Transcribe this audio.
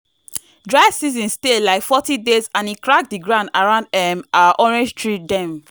dry season stay like forty days and e crack the ground around um our orange tree dem.